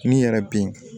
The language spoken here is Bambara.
N'i yɛrɛ bɛ